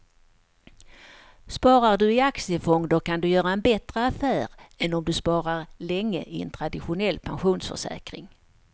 Sparar du i aktiefonder kan du göra en bättre affär än om du sparar länge i en traditionell pensionsförsäkring.